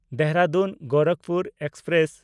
ᱫᱮᱦᱨᱟᱫᱩᱱ–ᱜᱳᱨᱟᱠᱷᱯᱩᱨ express